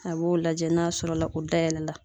A b'o lajɛ n'a sɔrɔla o dayɛlɛla.